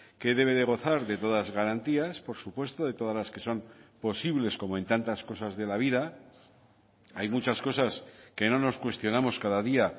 que debe de gozar de todas garantías por supuesto de todas las que son posibles como en tantas cosas de la vida hay muchas cosas que no nos cuestionamos cada día